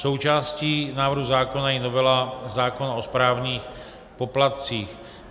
Součástí návrhu zákona je novela zákona o správních poplatcích.